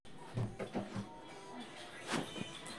ore enkiremore sidai neponaa ntapuka